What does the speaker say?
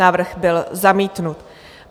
Návrh byl zamítnut.